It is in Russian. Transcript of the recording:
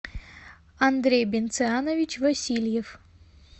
андрей бенцианович васильев